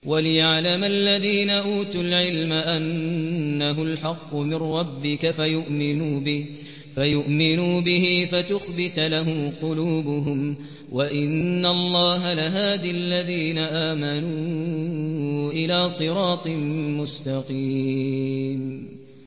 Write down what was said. وَلِيَعْلَمَ الَّذِينَ أُوتُوا الْعِلْمَ أَنَّهُ الْحَقُّ مِن رَّبِّكَ فَيُؤْمِنُوا بِهِ فَتُخْبِتَ لَهُ قُلُوبُهُمْ ۗ وَإِنَّ اللَّهَ لَهَادِ الَّذِينَ آمَنُوا إِلَىٰ صِرَاطٍ مُّسْتَقِيمٍ